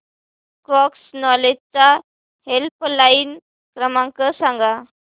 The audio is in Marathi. क्रॉस नॉलेज चा हेल्पलाइन क्रमांक सांगा